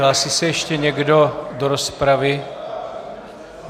Hlásí se ještě někdo do rozpravy?